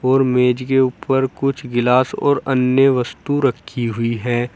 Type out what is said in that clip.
और मेज के उपर कुछ गिलास और अन्य वस्तु रखी हुई है।